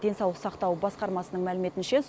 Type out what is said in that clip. денсаулық сақтау басқармасының мәліметінше